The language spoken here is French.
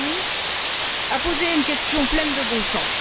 Zanni a posé une question pleine de bon sens.